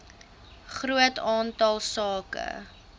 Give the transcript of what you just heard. groot aantal sake